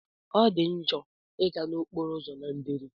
Ọdi njo iga na okporo ụzọ na nderi.